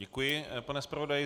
Děkuji, pane zpravodaji.